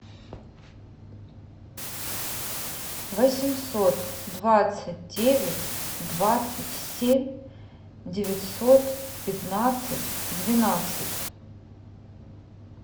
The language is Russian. восемьсот двадцать девять двадцать семь девятьсот пятнадцать двенадцать